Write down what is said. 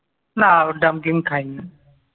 না ডাম্পলিং খাইনি।